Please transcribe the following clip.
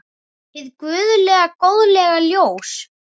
Hið guðlega góðlega ljós.